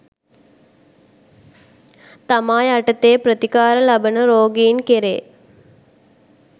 තමා යටතේ ප්‍රතිකාර ලබන රෝගීන් කෙරේ